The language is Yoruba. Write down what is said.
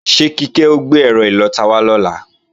Ṣé Kíkẹ́ ó gbé ẹ́rọ ìlọta wá lọ́la?